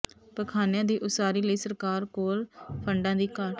ਪਖਾਨਿਆਂ ਦੀ ਉਸਾਰੀ ਲਈ ਸਰਕਾਰ ਕੋਲ ਫੰਡਾਂ ਦੀ ਘਾਟ